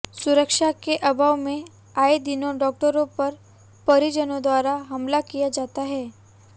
सुरक्षा के अभाव में आए दिनों डॉक्टरों पर परिजनोंद्वारा हमला किया जाता है